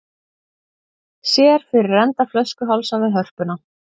Sér fyrir enda flöskuhálsa við Hörpuna